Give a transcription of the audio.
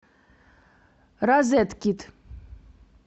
розеткид